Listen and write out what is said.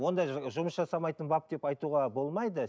ондай ы жұмыс жасамайтын бап деп айтуға болмайды